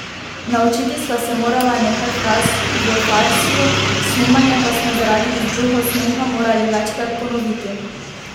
Naučiti sva se morala nekaj fraz v farsiju, snemanje pa smo zaradi izbruhov smeha morali večkrat ponoviti.